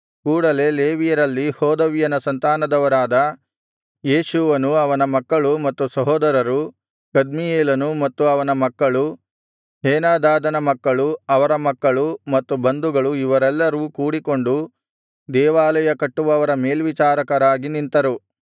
ಕೂಡಲೆ ಲೇವಿಯರಲ್ಲಿ ಹೋದವ್ಯನ ಸಂತಾನದವರಾದ ಯೇಷೂವನು ಅವನ ಮಕ್ಕಳು ಮತ್ತು ಸಹೋದರರು ಕದ್ಮೀಯೇಲನು ಮತ್ತು ಅವನ ಮಕ್ಕಳು ಹೇನಾದಾದನ ಮಕ್ಕಳು ಅವರ ಮಕ್ಕಳು ಮತ್ತು ಬಂಧುಗಳು ಇವರೆಲ್ಲರೂ ಕೂಡಿಕೊಂಡು ದೇವಾಲಯ ಕಟ್ಟುವವರ ಮೇಲ್ವಿಚಾರಕರಾಗಿ ನಿಂತರು